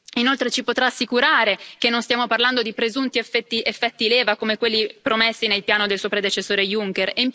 Inoltre, ci potrà assicurare che non stiamo parlando di presunti effetti leva, come quelli promessi nel piano del suo predecessore Juncker?